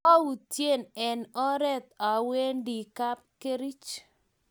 koang'unte eng' oret awendi kapkerich